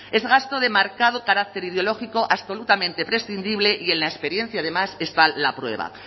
es gasto de marcado carácter ideológico absolutamente prescindible y en la experiencia además está la prueba